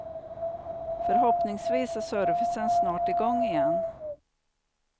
Förhoppningsvis är servicen snart i gång igen.